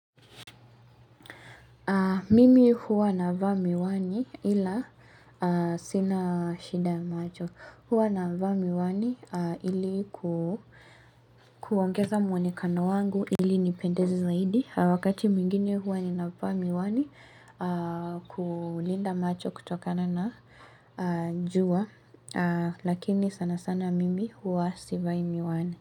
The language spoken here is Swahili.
Mimi hua navaa miwani ila sina shida ya macho. Hua navaa miwani ili kuongeza mwenekano wangu ili nipendeze zaidi. Wakati mwingine hua ninavaa miwani kulinda macho kutokana na jua. Lakini sana sana mimi hua sivai miwani.